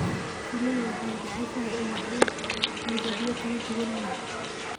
Shinnidu waxay jeceshahay ubaxyo midabyo kala duwan leh.